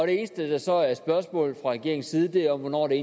eneste der så er spørgsmålet fra regeringens side er hvornår den